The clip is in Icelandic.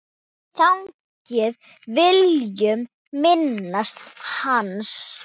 Þannig viljum minnast hans.